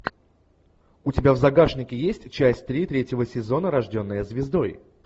у тебя в загашнике есть часть три третьего сезона рожденная звездой